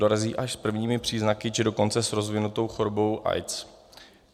Dorazí až s prvními příznaky, či dokonce s rozvinutou chorobou AIDS.